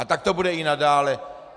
A tak to bude i nadále.